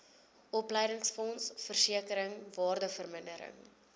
opleidingsfonds versekering waardevermindering